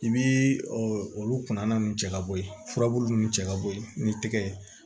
I bii olu kunna nun cɛ ka bɔ ye furabulu nunnu cɛ ka bɔ ye ni tɛgɛ ye